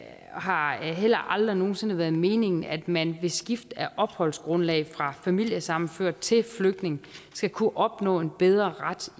har heller aldrig nogen sinde været meningen at man ved skift af opholdsgrundlag fra familiesammenført til flygtning skal kunne opnå en bedre ret